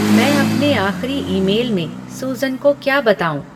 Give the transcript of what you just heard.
मैं अपने आख़िरी ईमेल में सुसन को क्या बताऊँ